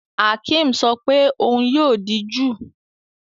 Akim sọ pé òun yóò di júù